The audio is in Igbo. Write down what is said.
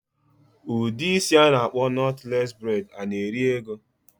Udi isi ana akpo knotless braid ana eri ego?